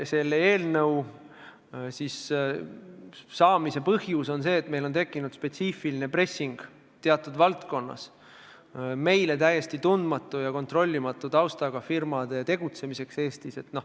Selle eelnõu koostamise põhjus on see, et on tekkinud spetsiifiline pressing seoses ühes valdkonnas meile täiesti tundmatu ja kontrollimatu taustaga firmade tegutsemiseks Eestis.